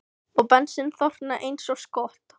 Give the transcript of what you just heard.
Og bensín þornar eins og skot.